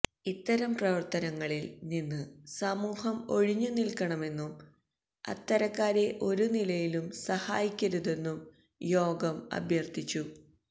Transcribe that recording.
ഇത്തരം പ്രവര്ത്തനങ്ങളില് നിന്ന് സമൂഹം ഒഴിഞ്ഞുനില്ക്കണമെന്നും അത്തരക്കാരെ ഒരുനിലയിലും സഹായിക്കരുതെന്നും യോഗം അഭ്യര്ഥിച്ചു